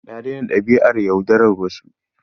Na daina dabi'ar yaudarar wasu.